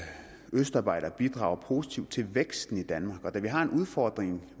østarbejdere bidrager positivt til væksten i danmark og da vi har en udfordring